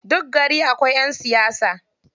Duk gari akwai ƴan siyasa.